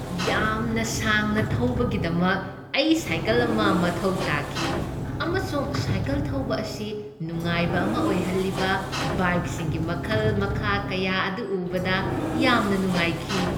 ꯌꯥꯝꯅ ꯁꯥꯡꯅ ꯊꯧꯕꯒꯤꯗꯃꯛ ꯑꯩ ꯁꯥꯏꯀꯜ ꯑꯃ ꯃꯊꯧ ꯇꯥꯈꯤ ꯑꯃꯁꯨꯡ ꯁꯥꯏꯀꯜ ꯊꯧꯕ ꯑꯁꯤ ꯅꯨꯡꯉꯥꯏꯕ ꯑꯃ ꯑꯣꯏꯍꯜꯂꯤꯕ ꯕꯥꯏꯛꯁꯤꯡꯒꯤ ꯃꯈꯜ ꯃꯈꯥ ꯀꯌꯥ ꯑꯗꯨ ꯎꯕꯗ ꯌꯥꯝꯅ ꯅꯨꯉꯥꯏꯈꯤ꯫